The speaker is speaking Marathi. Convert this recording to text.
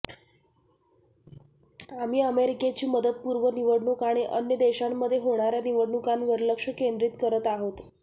आम्ही अमेरिकेची मुदतपूर्व निवडणूक आणि अन्य देशांमध्ये होणाऱया निवडणुकांवर लक्ष केंद्रीत करत आहोत